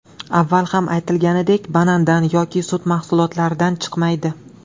Avval ham aytilganidek banandan yoki sut mahsulotlaridan chiqmaydi.